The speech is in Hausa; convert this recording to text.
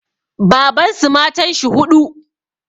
Babansu matanshi huɗu